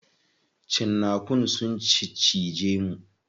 Cinnakun sun ciccije mu.